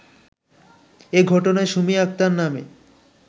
এ ঘটনায় সুমী আক্তার নামে